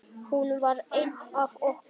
Hún var ein af okkur.